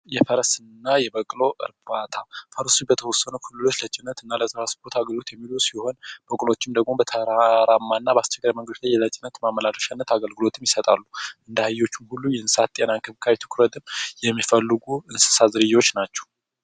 የፈረስ እና የበቅሎ እርባታ ፈረስ በተወሰኑ አካባቢዎች ለጭነት የሚውሉ ሲሆን በቅሎዎችም ደግሞ በአስቸጋሪ መንገዶች ለጭነት ማመላለሻነት አገልግሎት ይሰጣሉ። እንደ አህዮች ሁሉ እንክብካቤ የሚፈልጉ የእንሰሳት ዝርያዎች ናቸው።